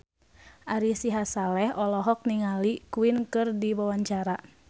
Ari Sihasale olohok ningali Queen keur diwawancara